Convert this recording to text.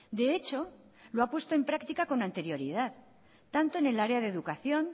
de hecho lo ha puesto en práctica con anterioridad tanto en el área de educación